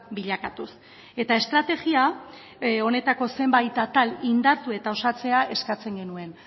bilakatuz eta estrategia honetako zenbait atal indartu eta osatzea eskatzen genuen